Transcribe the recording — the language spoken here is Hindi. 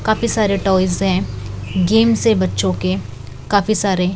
काफी सारे टॉयज हैं गेम्स है बच्चों के काफी सारे--